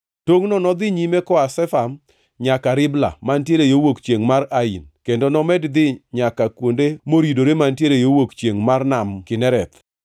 Tongʼno nodhi nyime koa Shefam nyaka Ribla mantiere yo wuok chiengʼ mar Ain kendo nomed dhi nyaka kuonde moridore mantiere yo wuok chiengʼ mar Nam Kinereth.